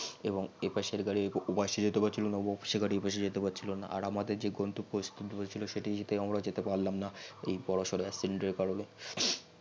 এবার এপাশের যাত্রি অপারে জেতে পারছিল না এবং অপারের গাত্রি এপাশে জেতে পারছিল না আর আমাদের যে গন্তব্য স্থির হয়েছিল সেটা আমারা জেতে পারলাম না এই বর সর accident এর কারনে